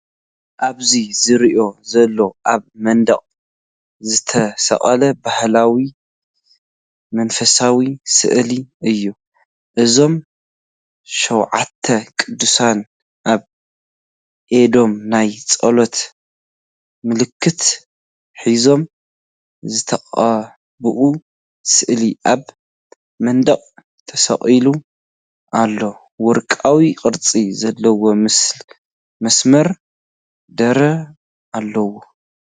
ኣብዚ ዝርአ ዘሎ ኣብ መንደቕ ዝተሰቕለ ባህላውን መንፈሳውን ስእሊ እዩ። እዞም ሸውዓተ ቅዱሳን ኣብ ኢዶም ናይ ጸሎት ምልክት ሒዞም ዝተቐብአ ስእሊ ኣብ መንደቕ ተሰቒሉ ኣሎ። ወርቃዊ ቅርጺ ዘለዎ መስመር ይረአ ኣሎ።